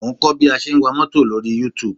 Mo ń kọ́ bí a ṣe ń wa mọ́tò lórí Youtube